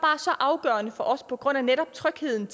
så afgørende for os på grund af netop trygheden